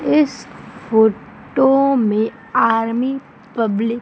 इस फोटो में army public --